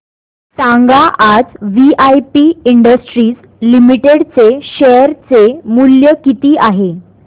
सांगा आज VIP industries limited चे शेअर चे मूल्य किती आहे